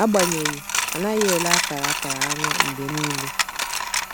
Agbanyeghị, a naghị ele akara akara anya mgbe niile.